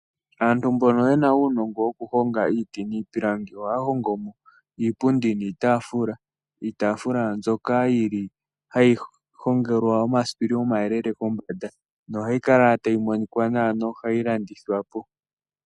Aantu mbono yena uunongo woku honga iiti niipilangi, ohaa hongomo iipundi niitaafula, iitaafula mbyoka yili hayi hongelwa omasipili oma yelele kombanda nohayi kala tayi monika nawa nohayi landithwa po.